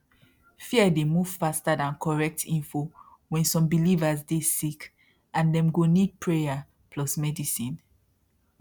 fear dey move faster than correct info when some believers dey sick and dem go need prayer plus medicine